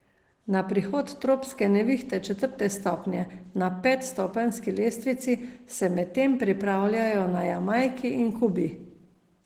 Na prihod tropske nevihte četrte stopnje na petstopenjski lestvici se medtem pripravljajo na Jamajki in Kubi.